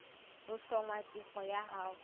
ho hlwaya tefo ya hao